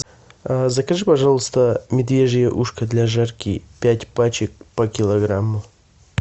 закажи пожалуйста медвежье ушко для жарки пять пачек по килограмму